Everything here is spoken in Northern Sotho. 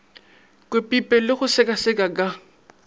kwepipe le go sekaseka ka